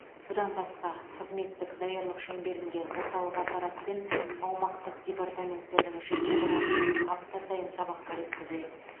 бұдан басқа қызметтік даярлық шеңберінде орталық аппарат пен аумақтық департаменттердің жеке құрамымен апта сайын сабақтар өткізіледі